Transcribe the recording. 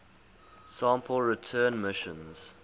sample return missions